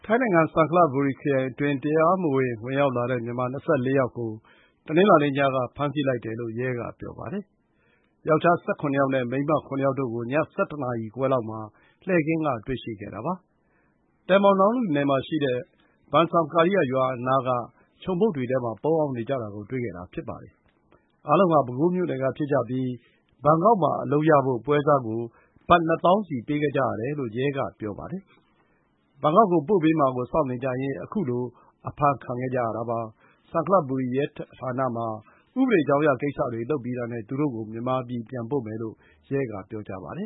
ိုင်းနိုင်ငံ ဆန်ခလဘူရီ ခရိုင်အတွင်း တရားမဝင် ဝင်ရောက်လာတဲ့ မြန်မာ ၂၄ ယောက်ကို တနင်္လာနေ့ ညက ဖမ်းဆီးလိုက်တယ်လို့ ရဲက ပြောပါတယ်။ ယောက်ျား ၁၇ ယောက်နဲ့ မိန်းမ ၇ ယောက်တို့ကို ည ၁၁ နာရီခွဲလောက်မှာ လှည့်ကင်းက တွေ့ရှိခဲ့တာပါ။tambon Nong Lu နယ်မှာရှိတဲ့ ဘန်ဆောင်ကာရီယရွာအနားက ခြုံပုတ်တွေထဲမှာ ပုန်းအောင်းနေကြတာ ကို တွေ့ခဲ့တာ ဖြစ်ပါတယ်။ အားလုံးဟာ ပဲခူးမြို့နယ်ကဖြစ်ကြပြီး ဘန်ကောက်မှာ အလုပ်ရဖို့ ပွဲစားကို ဘတ် ၂၀,၀၀၀ စီ ပေးခဲ့ကြရတယ်လို့ ရဲက ပြောပါတယ်။ဘန်ကောက်ကို ပို့ပေးမှာကို စောင့်နေကြရင်း ခုလို အဖမ်းခံခဲ့ကြရတာ ဖြစ်ပါတယ်။ ဆန်ခလဘူရီ ရဲဌာနမှာ ဥပဒေကြောင်းအရ ကိစ္စတွေလုပ်ပြီးတာနဲ့ သူတို့ကို မြန်မာပြည် ပြန်ပို့မယ်လို့ ရဲ က ပြောပါတယ